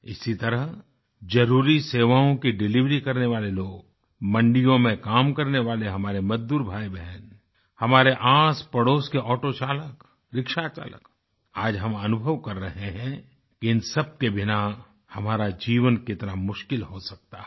इसी तरह ज़रुरी सेवाओं की डिलिवरी करने वाले लोग मंडियों में काम करने वाले हमारे मज़दूर भाईबहन हमारे आसपड़ोस के ऑटोचालक रिक्शाचालक आज हम अनुभव कर रहे हैं कि इन सब के बिना हमारा जीवन कितना मुश्किल हो सकता है